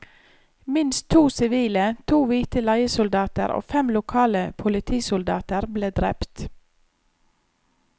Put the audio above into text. Minst to sivile, to hvite leiesoldater og fem lokale politisoldater ble drept.